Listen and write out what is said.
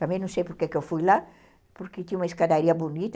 Também não sei porque que eu fui lá, porque tinha uma escadaria bonita.